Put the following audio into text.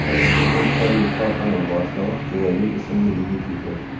O‘sha paytdagi korxona boshlig‘i Jo‘rabek ismli yigit ekan.